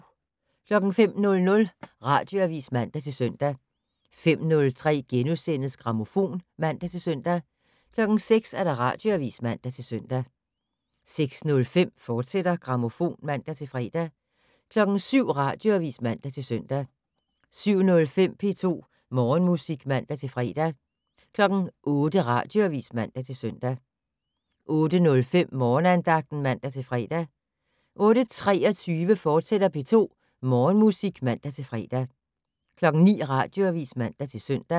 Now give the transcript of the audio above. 05:00: Radioavis (man-søn) 05:03: Grammofon *(man-søn) 06:00: Radioavis (man-søn) 06:05: Grammofon, fortsat (man-fre) 07:00: Radioavis (man-søn) 07:05: P2 Morgenmusik (man-fre) 08:00: Radioavis (man-søn) 08:05: Morgenandagten (man-fre) 08:23: P2 Morgenmusik, fortsat (man-fre) 09:00: Radioavis (man-søn)